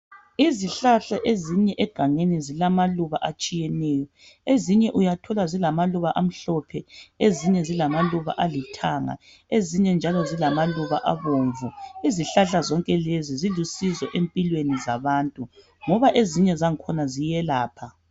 Izihlahla ezinye egangeni zilamaluba atshiyeneyo, ezinye uyathola zilamaluba amhlophe, ezinye zilamaluba alithanga ezinye njalo zilamaluba abomvu. Izihlahla zonke lezi zilusizo empilweni zabantu ngoba ezinye zakhona ziyelapha.